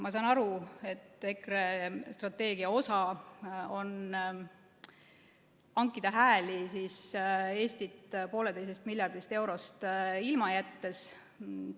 Ma saan aru, et EKRE strateegia osa on hankida hääli Eestit 1,5 miljardist eurost ilma jättes.